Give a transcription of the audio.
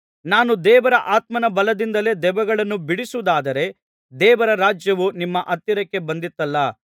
ನಾನು ದೇವರ ಆತ್ಮನ ಬಲದಿಂದಲೇ ದೆವ್ವಗಳನ್ನು ಬಿಡಿಸುವುದಾದರೆ ದೇವರ ರಾಜ್ಯವು ನಿಮ್ಮ ಹತ್ತಿರಕ್ಕೆ ಬಂದಿತಲ್ಲಾ